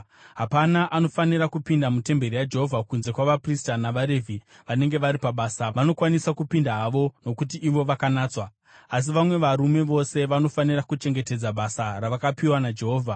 Hapana anofanira kupinda mutemberi yaJehovha kunze kwavaprista navaRevhi vanenge vari pabasa, vanokwanisa kupinda havo nokuti ivo vakanatswa. Asi vamwe varume vose vanofanira kuchengetedza basa ravakapiwa naJehovha.